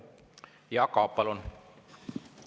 Jaak Aab, palun!